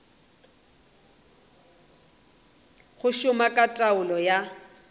go šoma ka taolo ya